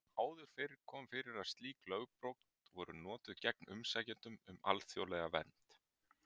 Áður fyrr kom fyrir að slík lögbrot voru notuð gegn umsækjendum um alþjóðlega vernd.